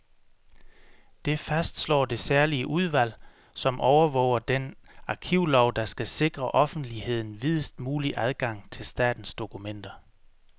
Det fastslår det særlige udvalg, som overvåger den arkivlov, der skal sikre offentligheden videst mulig adgang til statens dokumenter.